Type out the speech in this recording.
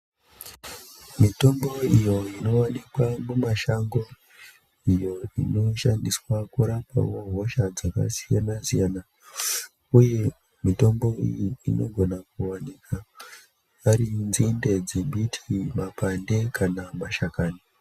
Mitombo iyo inoonekwa mumashango iyo inoshandiswa pakurapawo dzimwewo hosha dzakasiyana siyana uye mitombo iyi inokona wanika parinzinde dzembiti makwande kana mashakani.